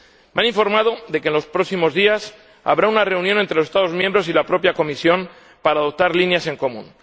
Me han informado de que, en los próximos días, habrá una reunión entre los Estados miembros y la propia Comisión para adoptar líneas en común.